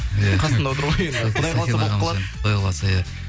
иә қасымда отыр ғой енді құдай қаласа болып қалады құдай қаласа иә